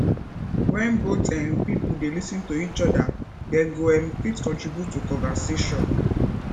when both um pipo dey lis ten to each oda dem go um fit contribute to conversation